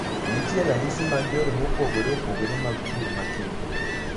Nitie ranyisi mag yore mopogore opogore mag pur ma kiny.